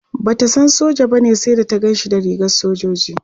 Bata san soja bane sai da ta Ganshi da rigar sojoji